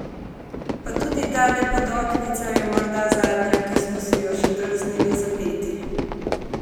Pa tudi tale podoknica je morda zadnja, ki smo si jo še drznili zapeti.